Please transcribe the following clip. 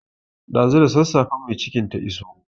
Ɗazu da sassafen mai cikin ta iso.